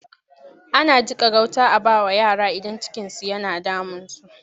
Ana jiƙa gauta a ba wa yara idan cikinsu yana damunsu.